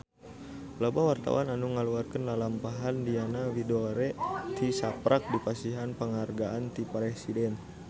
Loba wartawan anu ngaguar lalampahan Diana Widoera tisaprak dipasihan panghargaan ti Presiden